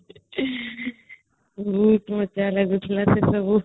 ବହୁତ ମଜା ଲାଗୁଥିଲା ସେ ସବୁ